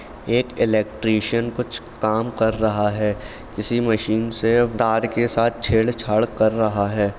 एक इलेक्ट्रीशियन कुछ काम कर रहा है। किसी मशीन से तार के साथ छेड़छाड़ कर रहा है।